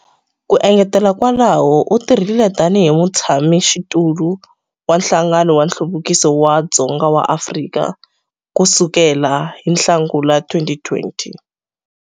Ku engetela kwalaho, u tirhile tanihi Mutshamaxitulu wa Nhlangano wa Nhluvukiso wa Dzonga wa Afrika ku sukela hi Nhlangula 2020.